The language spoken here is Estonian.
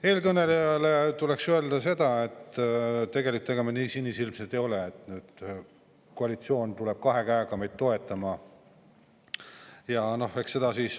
Eelkõnelejale tuleks öelda seda, et tegelikult me nii sinisilmsed ei ole arvamaks, et koalitsioon tuleb kahe käega meid toetama.